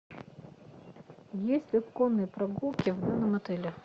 есть ли конные прогулки в данном отеле